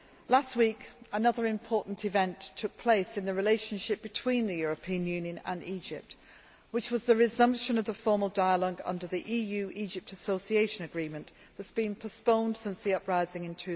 Last week, another important event took place in the relationship between the European Union and Egypt, which was the resumption of the formal dialogue under the EU Egypt Association Agreement that had been postponed since the uprising in